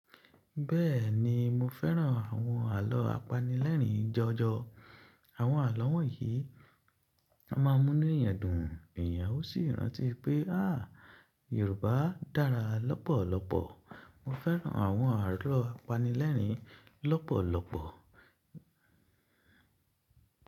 Bẹ́ẹ̀ni, mo fẹ́ran àwọn àlọ́ apanilẹ́rin jọjọ. Àwọn àlọ́ wọ̀nyí a máa mú nu eeyàn dùn, ènìyàn ó sì rántí pé a yorùbá dára lọ́pọ̀lọpọ̀. Mo fẹ́ran àwọn àlọ́ apanilẹ́rin lọ́pọ̀lọpọ̀.